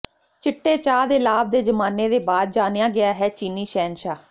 ਚਿੱਟੇ ਚਾਹ ਦੇ ਲਾਭ ਦੇ ਜ਼ਮਾਨੇ ਦੇ ਬਾਅਦ ਜਾਣਿਆ ਗਿਆ ਹੈ ਚੀਨੀ ਸ਼ਹਿਨਸ਼ਾਹ